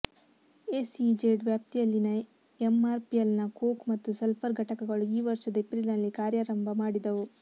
SEZ ವ್ಯಾಪ್ತಿಯಲ್ಲಿನ ಎಂಆರ್ಪಿಎಲ್ನ coke ಮತ್ತು ಸಲ್ಫರ್ ಘಟಕಗಳು ಈ ವರ್ಷದ ಏಪ್ರಿಲ್ನಲ್ಲಿ ಕಾರ್ಯಾರಂಭ ಮಾಡಿದವು